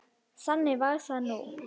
Þannig var það nú.